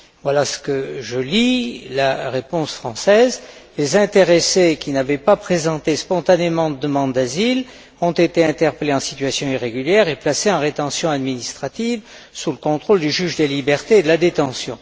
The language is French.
Voilà ce que je lis, de la réponse française Les intéressés qui n'avaient pas présenté spontanément de demande d'asile ont été interpellés en situation irrégulière et placés en rétention administrative sous le contrôle du juge des libertés et de la détention.